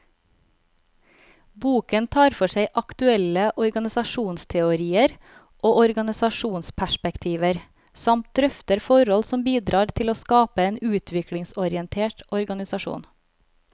Boken tar for seg aktuelle organisasjonsteorier og organisasjonsperspektiver, samt drøfter forhold som bidrar til å skape en utviklingsorientert organisasjon.